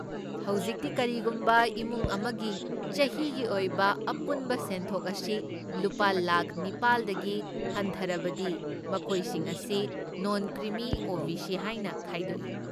ꯍꯧꯖꯤꯛꯇꯤ, ꯀꯔꯤꯒꯨꯝꯕ ꯏꯃꯨꯡ ꯑꯃꯒꯤ ꯆꯍꯤꯒꯤ ꯑꯣꯏꯕ ꯑꯄꯨꯟꯕ ꯁꯦꯟꯊꯣꯛ ꯑꯁꯤ ꯂꯨꯄꯥ ꯂꯥꯈ ꯅꯤꯄꯥꯜꯗꯒꯤ ꯍꯟꯊꯔꯕꯗꯤ, ꯃꯈꯣꯏꯁꯤꯡ ꯑꯁꯤ ꯅꯣꯟ ꯀ꯭ꯔꯤꯃꯤ ꯑꯣ.ꯕꯤ.ꯁꯤ. ꯍꯥꯏꯅ ꯈꯥꯏꯗꯣꯛꯏ꯫